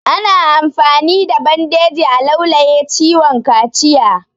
Ana amfani da bandeji a laulaye ciwon kaciya